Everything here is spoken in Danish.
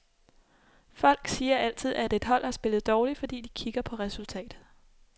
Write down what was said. Folk siger altid, at et hold har spillet dårligt, fordi de kigger på resultatet.